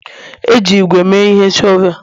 E ji ígwè mee ihe shọvel